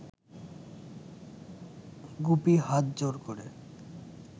গুপি হাত জোড় ক’রে